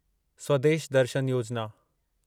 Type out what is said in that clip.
स्वदेश दर्शन योजिना